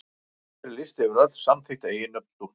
Hér er listi yfir öll samþykkt eiginnöfn stúlkna.